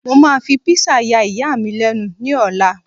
mo ma fi pizza ya iya mi lẹnu ni ọlá